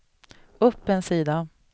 upp en sida